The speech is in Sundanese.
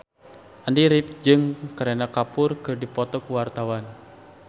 Andy rif jeung Kareena Kapoor keur dipoto ku wartawan